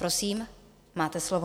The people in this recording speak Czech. Prosím, máte slovo.